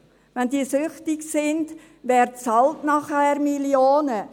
Wenn Sie süchtig sind, wer bezahlt danach Millionen?